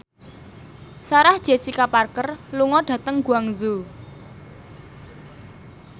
Sarah Jessica Parker lunga dhateng Guangzhou